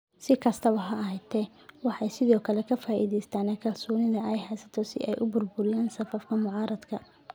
Si kastaba ha ahaatee, waxay sidoo kale ka faa'iidaystaan ​​kalsoonida ay haystaan ​​si ay u burburiyaan safafka mucaaradka.